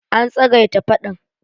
An tsagaita faɗan.